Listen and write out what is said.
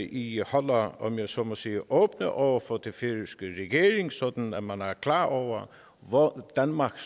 i holder om jeg så må sige åben over for den færøske regering sådan at man er klar over hvor danmark